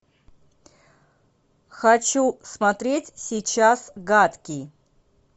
хочу смотреть сейчас гадкий